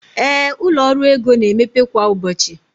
ee, ụlọ ọrụ ego na-emepe kwa ụbọchị